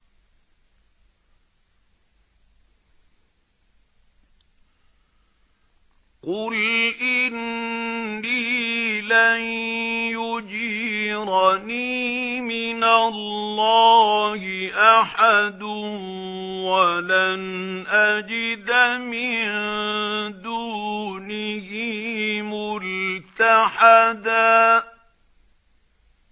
قُلْ إِنِّي لَن يُجِيرَنِي مِنَ اللَّهِ أَحَدٌ وَلَنْ أَجِدَ مِن دُونِهِ مُلْتَحَدًا